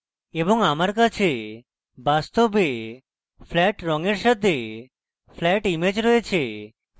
এবং আমার কাছে বাস্তবে flat রঙের সাথে flat image রয়েছে